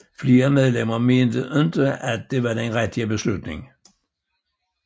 Flere medlemmer mente ikke at det var den rigtige beslutning